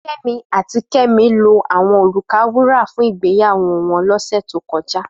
Femi àtí Kemi lò áwòn órúkà wúrà fún igbéyàwó wòn lòsè tókòjá